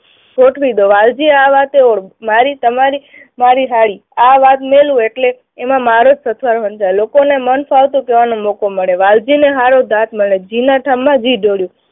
ગોઠવી દો. વાલજીએ આ વાતે મારી તમારી, મારી હાળી. આ વાત મેલું એટલે એમાં મારો જ સમજાય. લોકોને મનફાવતું કહેવાનું મોકો મળે. વાલજીને સારો લે. માં ઘી ઢોળ્યું.